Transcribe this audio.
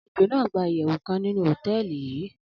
alejo nàá gba iyewu kan ninu hoteeli yii